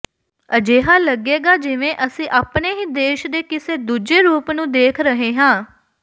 ਅਜਿਹਾ ਲੱਗੇਗਾ ਜਿਵੇਂ ਅਸੀ ਆਪਣੇ ਹੀ ਦੇਸ਼ ਦੇ ਕਿਸੇ ਦੂੱਜੇ ਰੂਪ ਨੂੰ ਦੇਖ ਰਹੇ ਹਾਂ